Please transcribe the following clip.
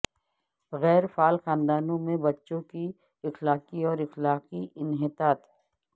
غیر فعال خاندانوں میں بچوں کی اخلاقی اور اخلاقی انحطاط